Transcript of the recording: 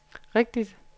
rigtigt